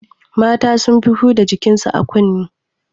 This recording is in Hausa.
Mata sun fi huda jikin su a kunne